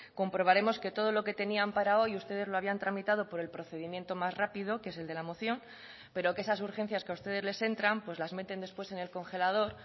comprobaremos que todo lo que tenían para hoy ustedes lo habían tramitado por el procedimiento más rápido que es el de la moción pero que esas urgencias que a ustedes les entran pues las meten después en el congelador